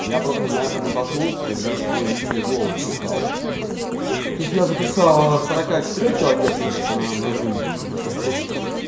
я просто на это натолкнулся когда свой личный голос писал то есть я записал на сорока четырёх килогерцах на на зум на диктофон